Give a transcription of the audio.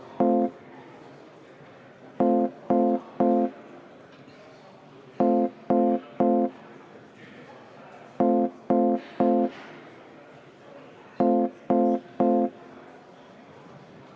Peaministrikandidaat Jüri Ratas sai volitused valitsuse moodustamiseks.